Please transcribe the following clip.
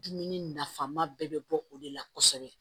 Dumuni nafama bɛɛ bɛ bɔ o de la kosɛbɛ